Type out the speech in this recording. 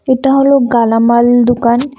এটা হলো গালামাল দুকান ।